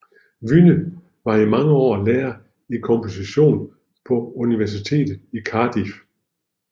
Wynne var i mange år lærer i komposition på Universitetet i Cardiff